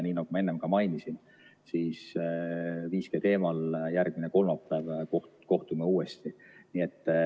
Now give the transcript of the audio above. Nii nagu ma enne ka mainisin, siis kohtume 5G teemal järgmisel kolmapäeval uuesti.